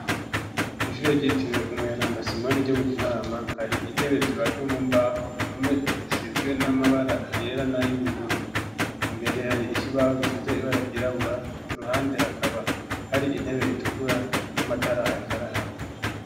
Kw'ishure ryitiriwe umweranda Simoni ryo mu Kinama hari intebe zibajwe mu mbaho, impome zisizwe n'amabara yera nay'ubururu. Mbere hari ikibaho gisize ibara ry'irabura, iruhande hakaba hari intebe itukura n'amatara ariko araka.